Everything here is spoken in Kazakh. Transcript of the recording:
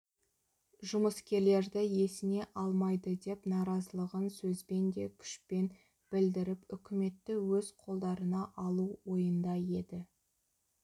жұмыскерлерді есіне алмайды деп наразылығын сөзбен де күшпен білдіріп үкіметті өз қолдарына алу ойында еді